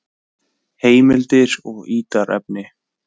Heimildir og ítarefni: